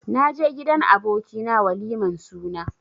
Naje gidan aboki na waliman suna.